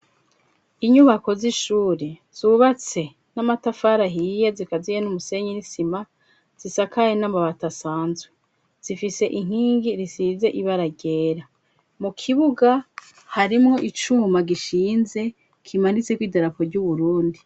Inyubako z'ishuri zubatse n'amatafari ahiye, zikaziye n'umusenyi n'isima, zisakaye n'amabati asanzwe, zifise inkingi risize ibara ryera, mu kibuga harimwo icuma gishinze, kimanitseko idarapo ry'Uburundi.